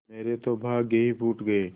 मेरे तो भाग्य ही फूट गये